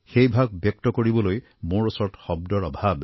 সেই ভাৱ ব্যক্ত কৰিবলৈ মোৰ ওচৰত শব্দৰ অভাৱ